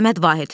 Səməd Vahid.